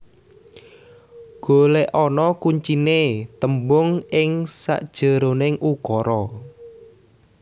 Golekana kuncine tembung ing sakjeroning ukara